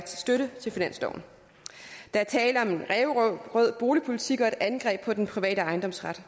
støtte finansloven der er tale om en ræverød boligpolitik og et angreb på den private ejendomsret